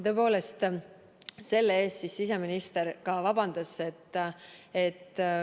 Tõepoolest, selle eest siseminister palus ka vabandust.